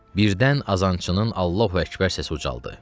Birdən azançının Allahu Əkbər səsi ucaldı.